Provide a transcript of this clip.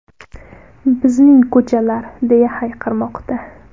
Bizning ko‘chalar!”, deya hayqirmoqda.